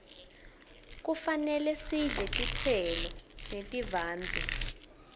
kufane sidle tistselo netivandze